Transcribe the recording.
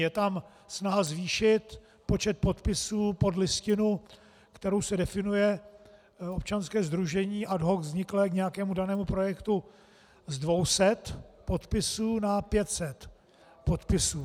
Je tam snaha zvýšit počet podpisů pod listinu, kterou se definuje občanské sdružení ad hoc vzniklé k nějakému danému projektu z 200 podpisů na 500 podpisů.